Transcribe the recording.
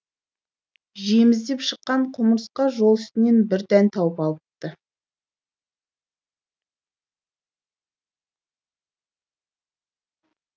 жем іздеп шыққан құмырсқа жол үстінен бір дән тауып алыпты